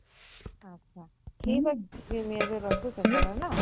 ଆଛା ଠିକ୍ ଅଛେ ସେ ନିନି ଏବେ ରଖୁଛେଁ ହେଲା।